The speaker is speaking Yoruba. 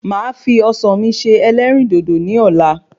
Màá fi Ọsàn mi se ẹlẹ́rìndòdò ní Ọ̀la